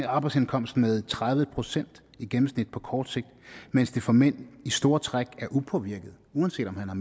arbejdsindkomst med tredive procent i gennemsnit på kort sigt mens det for manden i store træk er upåvirket uanset om han har